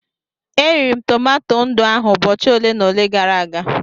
E riri m tomato ndụ ahụ ụbọchị ole na ole gara aga.